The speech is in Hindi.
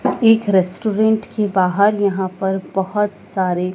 एक रेस्टोरेंट के बाहर यहां पर बहोत सारे--